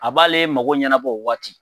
A b'ale mago ɲɛnabɔ o waati